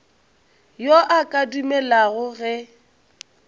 yo a ka dumelago ge